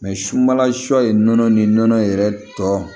sunbala shɔ ye nɔnɔ ni nɔnɔ yɛrɛ tɔ